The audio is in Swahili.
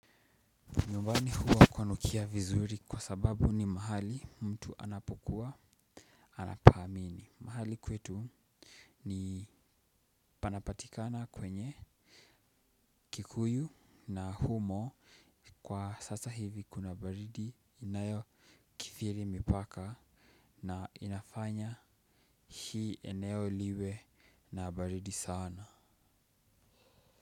Nyumbani huwa kwanukia vizuri kwa sababu ni mahali mtu anapokuwa anapaamini. Mahali kwetu ni panapatikana kwenye kikuyu na humo kwa sasa hivi kuna baridi inayokithiri mipaka na inafanya hii eneo liwe na baridi sana.